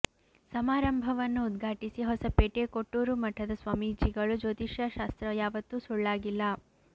ಸಮಾರಂಭವನ್ನು ಉದ್ಘಾಟಿಸಿದ ಹೊಸಪೇಟೆ ಕೊಟ್ಟೂರು ಮಠದ ಸ್ವಾಮೀಜಿಗಳು ಜ್ಯೋತಿಷ್ಯಶಾಸ್ತ್ರ ಯಾವತ್ತೂ ಸುಳ್ಳಾಗಿಲ್ಲ